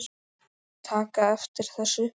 taka eftir þessu